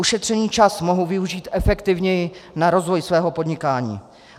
Ušetřený čas mohou využít efektivněji na rozvoj svého podnikání.